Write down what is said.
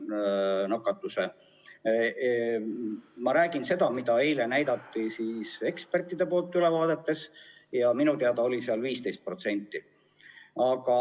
Eile näidati meile ekspertide ülevaateid ja minu teada oli nende järgi 15%.